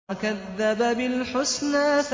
وَكَذَّبَ بِالْحُسْنَىٰ